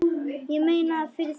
Ég meina, fyrir þig.